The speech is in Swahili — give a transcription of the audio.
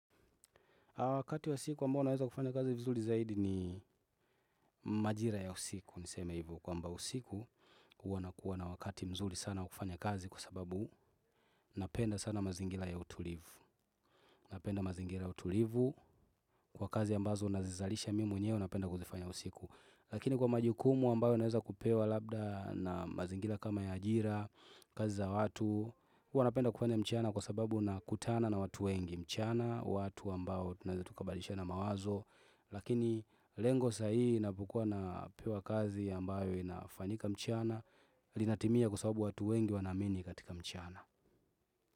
Wakati wa siku ambao naweza kufanya kazi vizuri zaidi ni majira ya usiku niseme hivo kwamba usiku huwa nakuwa na wakati mzuri sana wa kufanya kazi kwa sababu napenda sana mazingira ya utulivu. Napenda mazingira ya utulivu kwa kazi ambazo nazizalisha mimi mwenyewe napenda kuzifanya usiku. Lakini kwa majukumu ambayo naweza kupewa labda na mazingira kama ya ajira, kazi za watu, huwa napenda kufanya mchana kwa sababu na kutana na watu wengi mchana, watu ambao tunaeza tukabadishana mawazo lakini lengo saa hii inapokua na pewa kazi ambayo inafanyika mchana linatimia kwa sababu watu wengi wanaamini katika mchana.